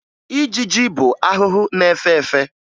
Ijiji bụ ahụhụ na-efe efe